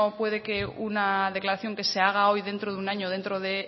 puede que una declaración que se haga hoy dentro de un año dentro de